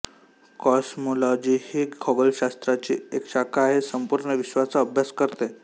cosmology ही खगोलशास्त्राची एक शाखा आहे संपूर्ण विश्वाचा अभ्यास करते